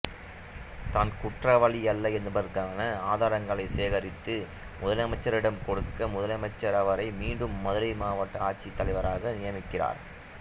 தான் குற்றவாளி அல்ல என்பதற்கான ஆதாரங்களை சேகரித்து முதலமைச்சரிடம் கொடுக்க முதலமைச்சர் அவரை மீண்டும் மதுரை மாவட்ட ஆட்சித்தலைவராக நியமிக்கிறார்